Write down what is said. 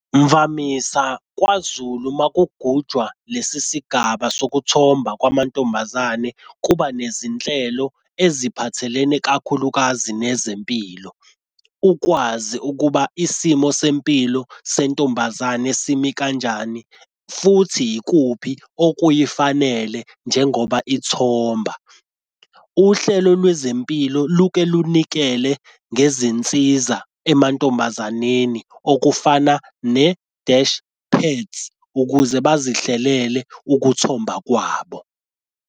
Mvamisa kwaZulu uma kugujwa lesi sigaba sokuthomba kwamantombazane kuba nezinhlelo eziphathelene kakhulukazi nezempilo ukwazi ukuba isimo sempilo sentombazane simi kanjani futhi yikuphi okuyifanele njengoba ithomba. Uhlelo lwezempilo luke lunikele ngezinsiza emantombazaneni okufana ne-dash pads ukuze bazihlelele ukuthomba kwabo.